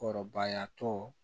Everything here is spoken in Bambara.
Kɔrɔbayatɔ